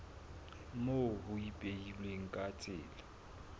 moo ho ipehilweng ka tsela